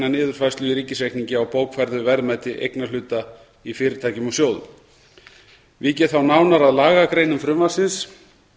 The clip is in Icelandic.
niðurfærslu í ríkisreikningi á bókfærðu verðmæti eignarhluta í fyrirtækjum og sjóðum vík ég þá nánar að lagagreinum frumvarpsins